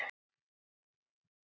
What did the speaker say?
Bakki efstur blaði á.